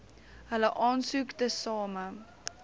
hulle aansoek tesame